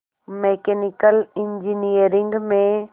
mechanical engineering में